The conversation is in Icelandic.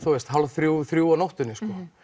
hálf þrjú þrjú á nóttunni